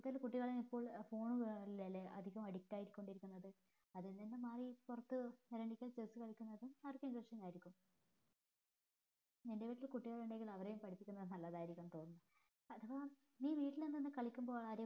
ഇപ്പൊ അതിന് കുട്ടികൾ എപ്പോൾ phone ലാലെ എപ്പോളും addict ആയികൊണ്ടിരിക്കുന്നത് അതിൽ നിന്ന് മാറി പുറത്തു ഇറങ്ങിട്ട് chess കളിക്കുന്നത് അവർക്ക് ഉന്മേഷമായിരിക്കും നിന്റേൽ കുട്ടികൾ ഉണ്ടെങ്കിൽ അവരെയും പഠിപ്പിക്കുന്നത് നല്ലതായിരിക്കും